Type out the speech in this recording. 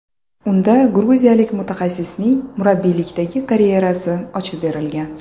Unda gruziyalik mutaxassisning murabbiylikdagi karyerasi ochib berilgan.